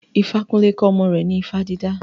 Ifakunle kọ́ ọmọ rẹ̀ ní ifá dídá.